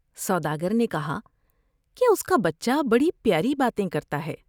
سوداگر نے کہا کہ اس کا بچہ بڑی پیاری باتیں کرتا ہے ۔